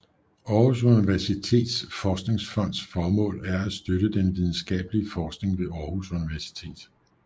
Aarhus Universitets Forskningsfonds formål er at støtte den videnskabelige forskning ved Aarhus Universitet